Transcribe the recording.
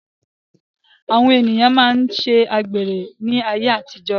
Àwọn ènìyàn na máa ṣe àgbèrè ní ayé àtijó.